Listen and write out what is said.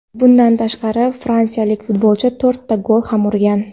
Bundan tashqari fransiyalik futbolchi to‘rtta gol ham urgan.